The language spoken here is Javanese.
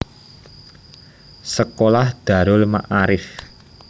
Sekolah Darul Maarif